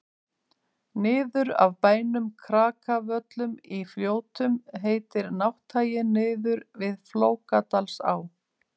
niður af bænum krakavöllum í fljótum heitir nátthagi niður við flókadalsá